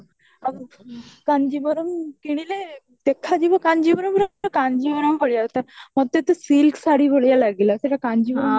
କାଞ୍ଜିଭରମ କିଣିଲେ ଦେଖାଯିବ କାଞ୍ଜିବର୍ଣ୍ଗ କାଞ୍ଜିଭରମ ଭଳିଆ ତୋ ମତେ ତ silk ଶାଢ଼ୀ ଭଳିଆ ଲାଗିଲା ସେଇଟା କାଞ୍ଜିଭରମ ପରି